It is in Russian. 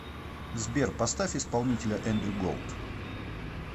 сбер поставь исполнителя эндрю голд